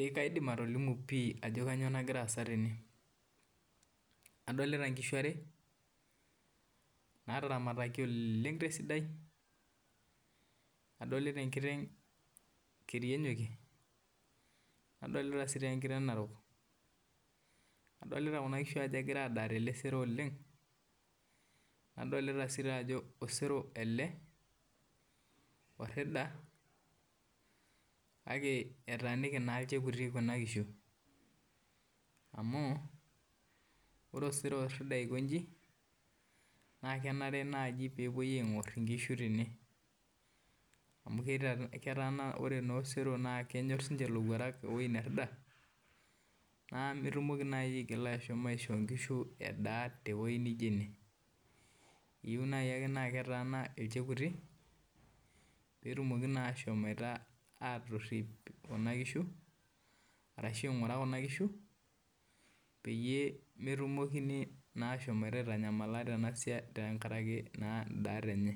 Eek kaidim atolimu pih ajo kanyioo nagira aasa tene adolita inkishu are naataramataki oleng tesida adolita enkitenga keri enyokie nadolita enkiteng narok nadoita ajo osero ele orida akake etaaniki naa ilchekuti kuna kishu kake ore osero orida akonji naa kenare naaji peepuoi aing'or inkishu tene amu ore naa osero orida naa ketii siininche ilowuarak nemetumoki aishio inkishu edaaa tewueji naijio ene eyieu naaji ake naa ketaana ilchekuti peetumoki naa angura kuna kishi pee metumokini naa ashomotioto aitanyamala tenkaraki indaat enye